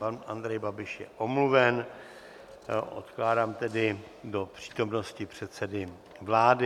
Pan Andrej Babiš je omluven, odkládám tedy do přítomnosti předsedy vlády.